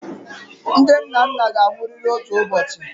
Ndị nnanna ga-anwụrịrị otu ụbọchị.